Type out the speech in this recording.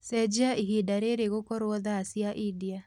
cenjĩa ĩhĩnda riri gũkorwo thaa cĩa india